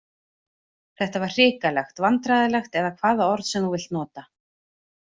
Þetta var hrikalegt, vandræðalegt eða hvaða orð sem þú vilt nota.